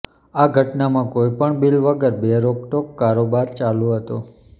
આ ઘટનામાં કોઇ પણ બીલ વગર બે રોકટોક કારોબાર ચાલુ હતો